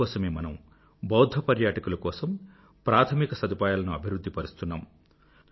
అందు కోసమే మనం బౌధ్ధ పర్యాటకుల కోసం ప్రాధమిక సదుపాయాలను అభివృధ్ధి పరుస్తున్నాము